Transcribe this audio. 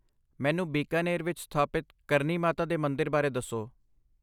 ਮੈਨੂੰ ਬੀਕਾਨੇਰ ਵਿੱਚ ਸਥਾਪਿਤ ਕਰਨੀ ਮਾਤਾ ਦੇ ਮੰਦਰ ਬਾਰੇ ਦੱਸੋ।